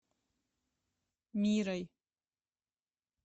мирой